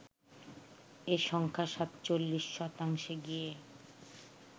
এ সংখ্যা ৪৭ শতাংশে গিয়ে